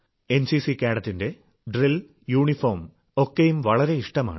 NCC കേഡറ്റിന്റെ drill uniform ഒക്കെയും വളരെ ഇഷ്ടമാണ്